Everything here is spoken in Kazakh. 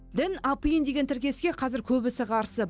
дін апиын деген тіркеске қазір көбісі қарсы